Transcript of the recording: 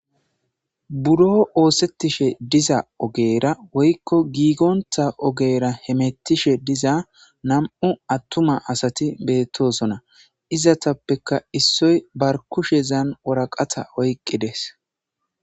buro oosettishe diza ogeera woykko giigonta ogeera hemettishe diza nam7u attuma asati beettosona izatappeka issoy bar kushezan woraqata oyqqi dees